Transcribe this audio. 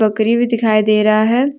भी दिखाई दे रहा है।